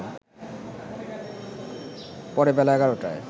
পরে বেলা ১১টায়